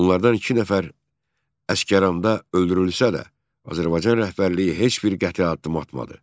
Onlardan iki nəfər Əsgəranda öldürülsə də, Azərbaycan rəhbərliyi heç bir qəti addım atmadı.